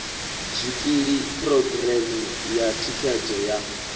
zwikili phurogireme ya thikhedzo ya